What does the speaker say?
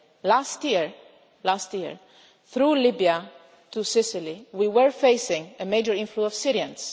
today. Last year, through Libya to Sicily, we were facing a major inflow of